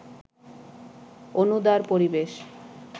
অনুদার পরিবেশ